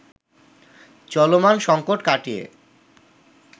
চলমান সংকট কাটিয়ে